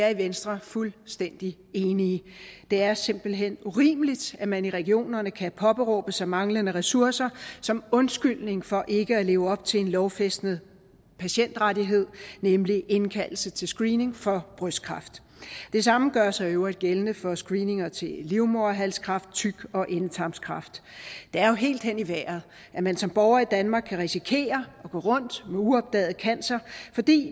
er i venstre fuldstændig enige det er simpelt hen urimeligt at man i regionerne kan påberåbe sig manglende ressourcer som undskyldning for ikke at leve op til en lovfæstet patientrettighed nemlig indkaldelse til screening for brystkræft det samme gør sig i øvrigt gældende for screeninger til livmoderhalskræft tyk og endetarmskræft det er jo helt hen i vejret at man som borger i danmark kan risikere at gå rundt med uopdaget cancer fordi